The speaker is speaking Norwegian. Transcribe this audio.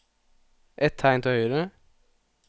Ett tegn til høyre